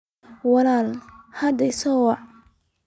Walaal hadda isoo wac